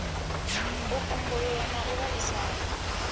u kumbululwa na u vhaisala